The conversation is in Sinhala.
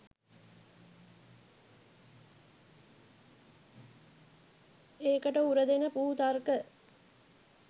ඒකට උරදෙන පුහු තර්ක